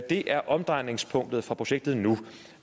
det er omdrejningspunktet for projektet nu